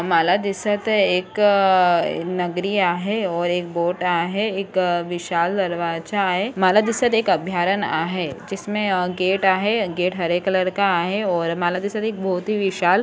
मला दिसत एक नगरी आहे और एक बोट आहे एक विशाल दरवाजा आहे मला दिसत एक अभयारण्य आहे जिसमे एक गेट आहे गेट हरे कलर का आहे. और मला दिसत एक बहुत ही विशाल